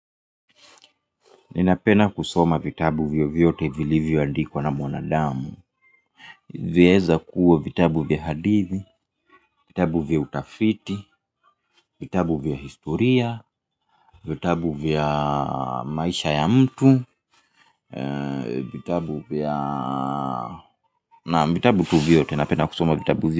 Ninapenda kusoma vitabu vyovyote vilivyoandikwa na mwanadamu vyaeza kuwa vitabu vya hadithi, vitabu vya utafiti, vitabu vya historia, vitabu vya maisha ya mtu vitabu vya naam vitabu tu vyote, napenda kusoma vitabu vya.